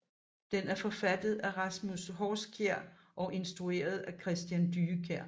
Den er forfattet af Rasmus Horskjær og instrueret af Christian Dyekjær